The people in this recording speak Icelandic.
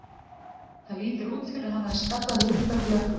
Það lítur út fyrir að hann hafi skaddað liðbönd í ökkla.